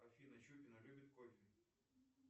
афина чупина любит кофе